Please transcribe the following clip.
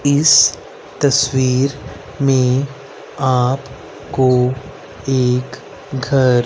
इस तस्वीर में आप को एक घर--